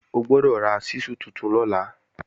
Ó gbọ́dọ̀ ra ṣísù tuntun lọ́la!